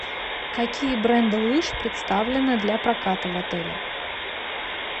какие бренды лыж представлены для проката в отеле